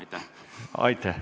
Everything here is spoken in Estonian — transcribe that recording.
Aitäh!